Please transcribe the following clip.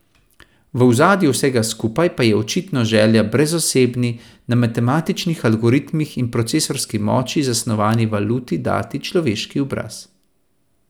V ozadju vsega skupaj pa je očitno želja brezosebni, na matematičnih algoritmih in procesorski moči zasnovani valuti dati človeški obraz.